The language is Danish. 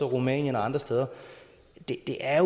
rumænien eller andre steder det er